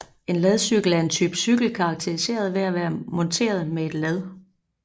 En ladcykel er en type cykel karakteriseret ved at være monteret med et lad